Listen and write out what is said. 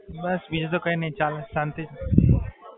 બસ બીજું તો કાઇ નહીં બસ ચાલે છે, શાંતિ છે.